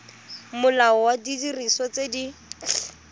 molao wa didiriswa tse di